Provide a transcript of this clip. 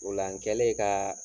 O la n kɛlen kaa